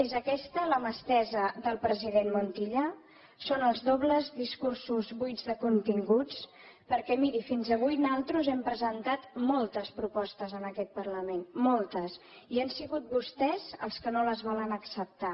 és aquesta la mà estesa del president montilla són els dobles discursos buits de continguts perquè miri fins avui nosaltres hem presentat moltes propostes en aquest parlament moltes i han sigut vostès els que no les volen acceptar